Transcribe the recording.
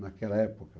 Naquela época.